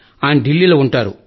ఆయన ఢిల్లీలో ఉంటారు